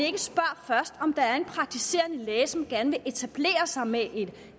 at om der er en praktiserende læge som gerne vil etablere sig med et